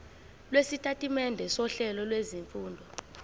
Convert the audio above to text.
lwesitatimende sohlelo lwezifundo